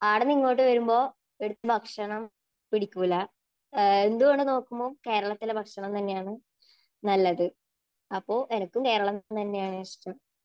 അവിടുന്ന് ഇങ്ങോട്ട് വരുമ്പോൾ ഇവിടത്തെ ഭക്ഷണം പിടിക്കൂല, എന്തുകൊണ്ട് നോക്കുമ്പോൾ കേരളത്തിലെ ഭക്ഷണം തന്നെയാണ് നല്ലത്. അപ്പോ എനിക്കും കേരളം തന്നെയാണ് ഇഷ്ടം.